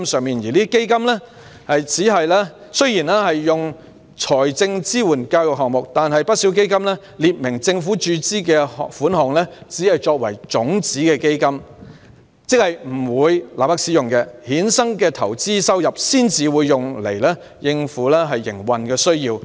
這些基金雖然支援教育項目，但不少基金列明政府注資的款項只用作種子基金，即不會立即使用，所衍生的投資收入才會用來應付營運需要。